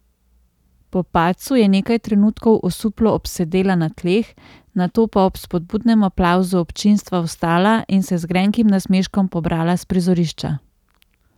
Po padcu je nekaj trenutkov osuplo obsedela na tleh, nato pa ob spodbudnem aplavzu občinstva vstala in se z grenkim nasmeškom pobrala s prizorišča.